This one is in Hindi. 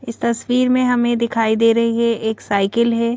इस तस्वीर में हमें दिखाई दे रही है एक साइकिल है।